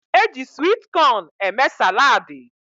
Eji swit cón eme salaadi